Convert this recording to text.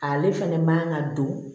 Ale fɛnɛ man ka don